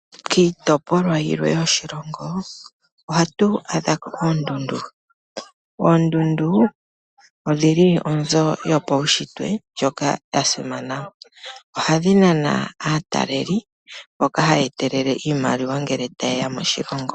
Kiitopolwa yilwe yoshilongo ohatu adha ko oondundu. Oondundu odhili onzo yopaushitwe ndjoka ya simana. Ohadhi nana aataaleli mboka haya etelele iimaliwa ngele taye ya moshilongo.